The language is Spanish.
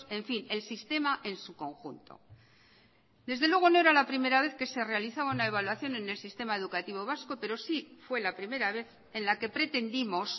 en fin el sistema en su conjunto desde luego no era la primera vez que se realizaba una evaluación en el sistema educativo vasco pero sí fue la primera vez en la que pretendimos